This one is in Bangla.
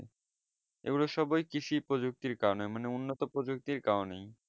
এগুলো সবই কৃষি প্রজক্তির কারণে মানে উন্নত প্রজক্তির কারণেই